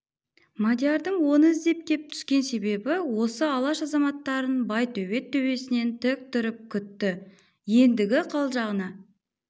мадиярдың оны іздеп кеп түскен себебі осы алаш азаматтарын байтөбет төбесінен тік тұрып күтті ендігі қалжағына